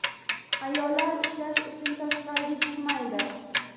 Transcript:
Ayollar ishlash uchun tashqariga chiqmaydi.